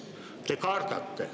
Te kardate.